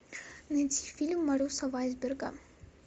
найти фильм марюса вайсберга